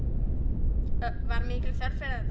Var mikil þörf fyrir þetta?